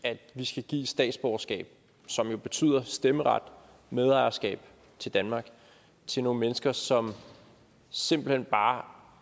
at vi skal give statsborgerskab som jo betyder stemmeret og medejerskab til danmark til nogle mennesker som simpelt hen bare